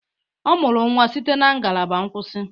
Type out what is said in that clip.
Ọ mụrụ nwa site na ngalaba nkwụsị